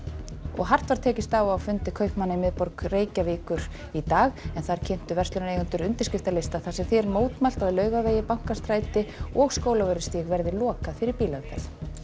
hart var tekist á á fundi kaupmanna í miðborg Reykjavíkur í dag en þar kynntu verslunareigendur undirskriftalista þar sem því er mótmælt að Laugavegi Bankastræti og Skólavörðustíg verði lokað fyrir bílaumferð